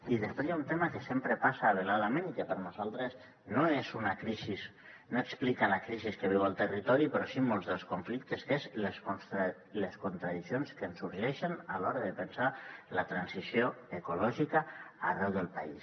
i després hi ha un tema que sempre passa veladament i que per nosaltres no explica la crisi que viu el territori però sí molts dels conflictes que són les contradiccions que ens sorgeixen a l’hora de pensar la transició ecològica arreu del país